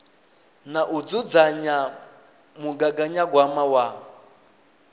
na u dzudzanya mugaganyagwama wa